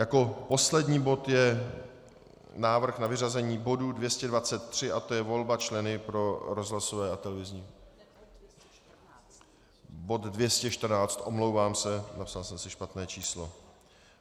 Jako poslední bod je návrh na vyřazení bodu 223 a to je volba člena pro rozhlasové a televizní... bod 214, omlouvám se, napsal jsem si špatné číslo.